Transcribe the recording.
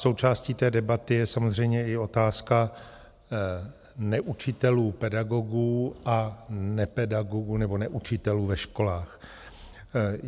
Součástí té debaty je samozřejmě i otázka neučitelů pedagogů a nepedagogů nebo neučitelů ve školách.